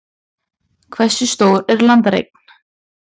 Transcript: Hversu stór er landareign?